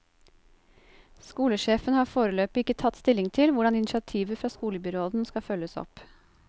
Skolesjefen har foreløpig ikke tatt stilling til hvordan initiativet fra skolebyråden skal følges opp.